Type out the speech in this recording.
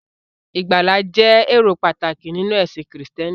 Ìgbàlà jẹ́ èrò pàtàkì nínú ẹ̀sìn Krístẹ́nì.